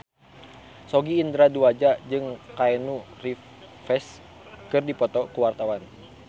Sogi Indra Duaja jeung Keanu Reeves keur dipoto ku wartawan